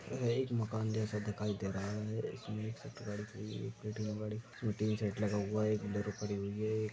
यह एक माकन जैसा दिखाई दे रहा है इसमें टिन शेड लगा हुआ है यह एक बुलेरो खड़ी हुई है एक --